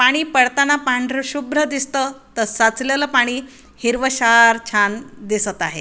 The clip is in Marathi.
पाणी पडताना पांढर शुभ्र दिसत त साचलेल पाणी हिरवशार छान दिसत आहे.